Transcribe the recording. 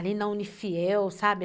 Ali na Unifiel, sabe?